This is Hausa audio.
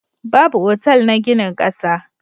Babu otal na ginin ƙasa.